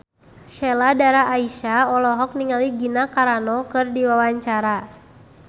Sheila Dara Aisha olohok ningali Gina Carano keur diwawancara